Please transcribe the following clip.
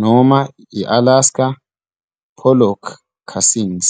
noma i- Alaska pollock casings.